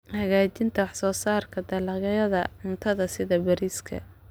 Hagaajinta wax soo saarka dalagyada cuntada sida bariiska.